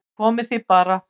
Komið þið bara